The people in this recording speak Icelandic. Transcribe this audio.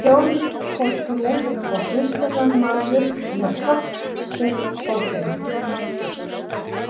Jóhannes postuli og guðspjallamaður með tákn sitt bókina.